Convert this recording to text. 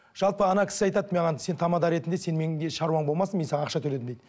жалпы ана кісі айтады маған сен тамада ретінде сен менде шаруаң болмасын мен саған ақша төледім дейді